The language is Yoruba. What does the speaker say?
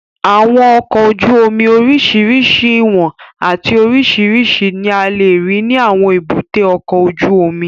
Àwọn ọkọ̀ ojú omi oríṣiríṣi ìwọ̀n àti oríṣiríṣi ní a lè rí ní àwọn èbúté ọkọ̀ ojú omi